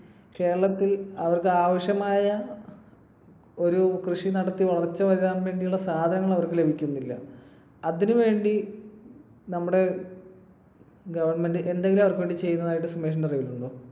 കേരളത്തിൽ അവർക്ക് ആവശ്യമായ ഒരു കൃഷി നടത്തി വളർച്ച വരാൻ വേണ്ടിയുള്ള സാധനങ്ങൾ അവർക്കു ലഭിക്കുന്നില്ല. അതിനു വേണ്ടി നമ്മുടെ government എന്തെങ്കിലും അവർക്കുവേണ്ടി ചെയ്യുന്നതായിട്ട് സുമേഷിന്റെ അറിവിലുണ്ടോ?